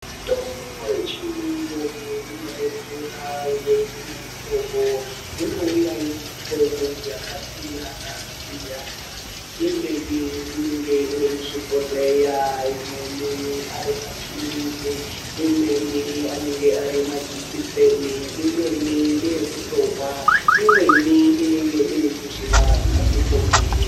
Mitombo yechiyungu inodetsera uye inemuhlobo, inouya iri mihlobo yakasiyana siyana imweni inenge iri muzvibhodhleya , imweni arimaphilizi, imweni anenge arimajekiseni, imweni ngeyekutomwa , imweni inenge muzvimakandibhokisi.